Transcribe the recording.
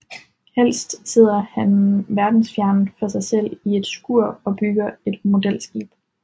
Helst sidder han verdensfjern for sig selv i et skur og bygger et modelskib